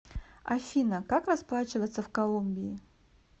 афина как расплачиваться в колумбии